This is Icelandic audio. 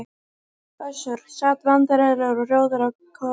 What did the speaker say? Össur sat vandræðalegur og rjóður á kollinum.